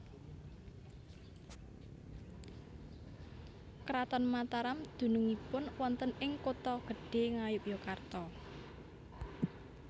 Kraton Mataram dunungipun wonten ing Kota Gedhe Ngayogyakarta